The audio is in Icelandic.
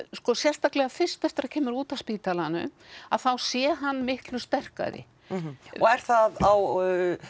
sko sérstaklega fyrst eftir að það kemur út af spítalanum að þá sé hann miklu sterkari og er það á